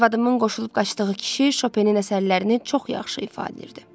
Arvadımın qoşulub qaçdığı kişi şopenin əsərlərini çox yaxşı ifadə edirdi.